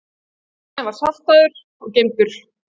Sundmaginn var saltaður og geymdur.